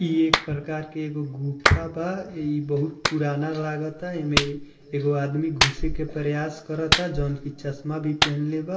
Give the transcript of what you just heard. इ एक प्रकार के एगो गुफा बा। इ बहुत पुराना लागता। एमें एगो आदमी घुसे के प्रयास करता जउन की चश्मा भी पेहेनले बा।